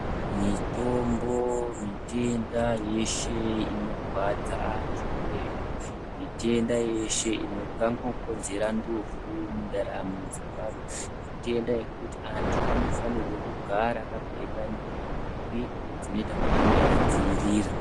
Mitombo mutenda yeshe inorwadza vantu uyezve mitombo yeshe ingangokonzera ndufu mundaramo ndeantu matenda ekuti vantu vanofanira kugara vakapfeka nhumbu dzinoita kuti ange eidzivirira.